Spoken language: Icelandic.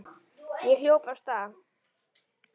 Ég hljóp af stað.